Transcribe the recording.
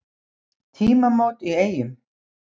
Tímamót í Eyjum